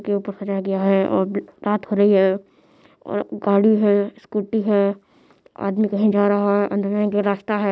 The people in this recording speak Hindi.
--के ऊपर गया है और रात हो रही है और गाडी है स्कूटी है । आदमी कहीं जा रहा है अंदर में एक रास्ता है।